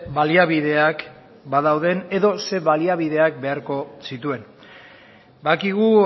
baliabideak badauden edo zein baliabideak beharko zituen badakigu